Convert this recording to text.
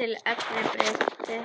til eftirbreytni?